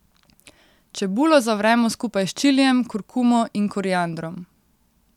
Čebulo zavremo skupaj s čilijem, kurkumo in koriandrom.